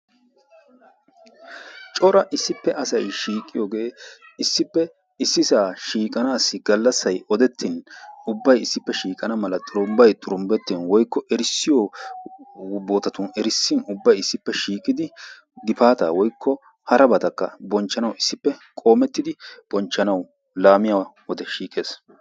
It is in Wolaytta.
Cora issippe asay shiiqiyogee issippe issisaa shiiqanassi gallassay odettin ubbay issippe shiiqana mala xurumbbay xurumbbettin woykko erissiyo bootatun erissin ubbay isdippe shiiqidi gifaataa woykko harabatakka bonchchanawu issippe qoomettidi bonchchanawu laamiya wode shiiqees.